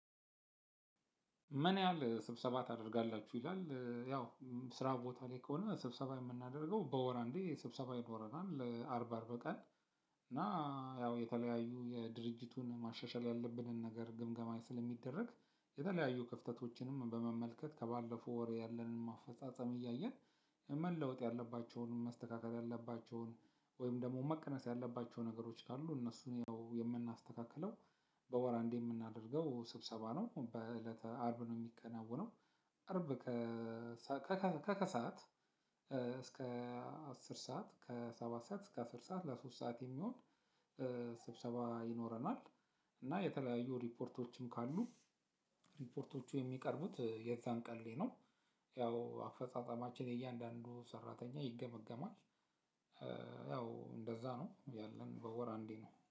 ምን ያህል ስብሰባ ታደርጋላችሁ ይላል ያው ስራ ቦታ ላይ ከሆነ ስብሰባ የምናደርገው በወር አንዴ ስብሰባ ይኖረናል አርብ አርብ ቀን። እና ያው የተለያዩ የድርጅቱን ማሻሻል ያለብንን ነገር ግምገማ ስለሚደረግ የተለያዩ ክፍተቶችንም በመመልከት ከባለፈው ወር ያለንን አፈጻጸም እያየን መለወጥ ያለባቸውን መስተካከል ያለባቸውን ወይም ደግሞ መቀነስ ያለባቸው ነገሮች ካሉ እነሱን የምናስተካክለው በወር አንዴ የምናደርገው ስብሰባ ነው በእለተ አርብ ነው የሚከናወነው። አርብ ከከከሳከከሰአት እስከ አስር ሰዓት ከሰባት ሰዓት እስከ አስር ሰዓት ለሶስት ሰዓት የሚሆን ስብሰባ ይኖረናል። እና የተለያዩ ሪፖርቶችም ካሉ ሪፖርቶቹ የሚቀርቡት የዛን ቀን ላይ ነው። ያው አፈጻጸማችን የያንዳንዱ ሰራተኛ ይገመገማል። ያው እንደዛ ነው ያለን በወር አንዴ ነው